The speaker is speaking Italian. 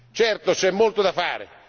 Certo, c'è molto da fare.